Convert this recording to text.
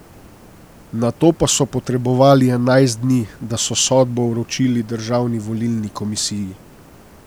Nato pa so potrebovali enajst dni, da so sodbo vročili državni volilni komisiji.